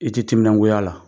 I ti timinangoy'a la.